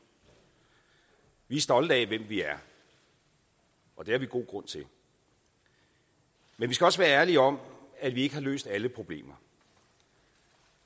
vi er stolte af hvem vi er og det har vi god grund til men vi skal også være ærlige om at vi ikke har løst alle problemer